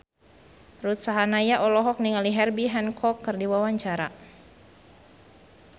Ruth Sahanaya olohok ningali Herbie Hancock keur diwawancara